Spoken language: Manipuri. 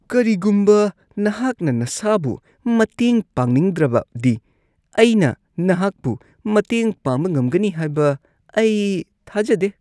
ꯀꯔꯤꯒꯨꯝꯕ ꯅꯍꯥꯛꯅ ꯅꯁꯥꯕꯨ ꯃꯇꯦꯡ ꯄꯥꯡꯅꯤꯡꯗ꯭ꯔꯕꯗꯤ ꯑꯩꯅ ꯅꯍꯥꯛꯄꯨ ꯃꯇꯦꯡ ꯄꯥꯡꯕ ꯉꯝꯒꯅꯤ ꯍꯥꯏꯕ ꯑꯩ ꯊꯥꯖꯗꯦ꯫